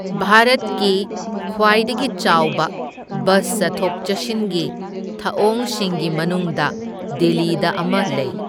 ꯚꯥꯔꯠꯀꯤ ꯈ꯭ꯋꯥꯏꯗꯒꯤ ꯆꯥꯎꯕ ꯕꯁ ꯆꯠꯊꯣꯛ ꯆꯠꯁꯤꯟꯒꯤ ꯊꯑꯣꯡꯁꯤꯡꯒꯤ ꯃꯅꯨꯡꯗ ꯗꯤꯜꯂꯤꯗ ꯑꯃ ꯂꯩ꯫